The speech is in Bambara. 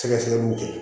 Sɛgɛsɛgɛliw kɛ